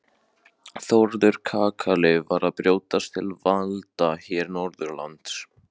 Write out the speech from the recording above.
Þórður kakali var að brjótast til valda hér norðanlands.